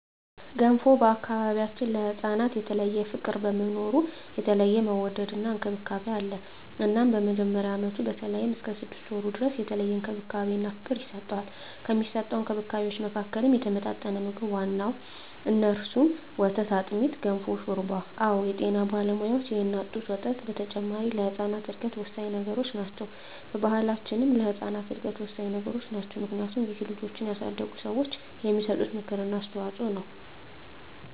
በገንፎ ቢያችን ለህፃናት የተለየ ፍቅር በመኖሩ የተለየ መወደድና እንክብካቤ አለ እናም በመጀመሪያ አመቱ በተለይም እስከ ስድስት ወሩ ድረስ የተለየ እንክብካቤና ፍቅር ይሰጠዋል። ከሚሰጠዉ እንክብካቤወች መካከልም የተመጣጠነ ምግብ ዋነኛዉ እነሱም፦ ወተት፣ አጥሚት፣ ገንፎ፣ ሾርባ አወ የጤና ባለሙያዋች የእናት ጡት ወተት በተጨማሪ ለህጻናት እድገት ወሳኚ ነገሮች ናቸው። በባሕላችንም ለህጻናት እድገት ወሳኚ ነገሮች ናቸው። ምክንያቱም ብዙ ልጆችን ያሳደጉ ሰዋች የሚሰጡት ምክር እና አስተዋጾ ነው።